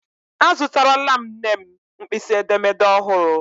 Azụtarala m nne m mkpịsị edemede ọhụrụ..